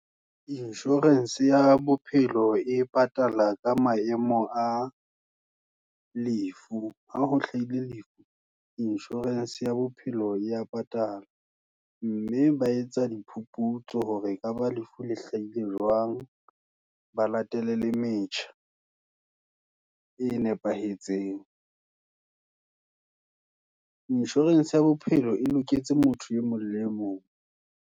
Insurance ya bophelo, e patala ka maemo a lefu, ha ho hlahile lefu, insurance ya bophelo ya patala. Mme ba etsa diphuputso, hore ekaba lefu la hlahile jwang. Ba latele le metjha e nepahetseng. Insurance ya bophelo e loketse motho e mong le e mong.